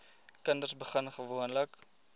kinders begin gewoonlik